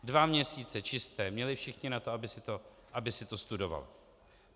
Dva měsíce čisté měli všichni na to, aby si to studovali.